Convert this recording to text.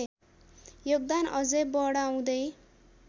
योगदान अझै बढाउँदै